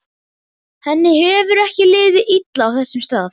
Henni hefur ekki liðið illa á þessum stað.